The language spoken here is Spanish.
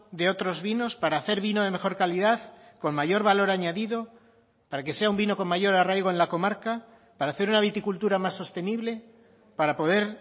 de otros vinos para hacer vino de mejor calidad con mayor valor añadido para que sea un vino con mayor arraigo en la comarca para hacer una viticultura más sostenible para poder